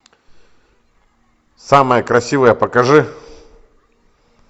самая красивая покажи